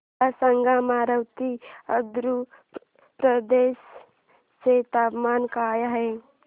मला सांगा अमरावती आंध्र प्रदेश चे तापमान काय आहे